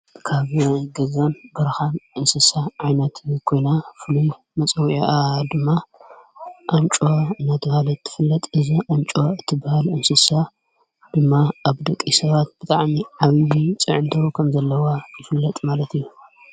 ካብ ገዛን ብርኻን እንስሳ ዓይናት ጐና ፍሉ መጸውዕኣ ድማ ኣንጮዋ ነቲባለት ትፍለጥ እዛ ኣንጮዋ እቲብሃል እንስሳ ድማ ኣብ ደቂ ሰባት ብታዓኒ ዓብኒ ፅዕንቶ ኸም ዘለዋ ይፍለጥ ማለት እዩ።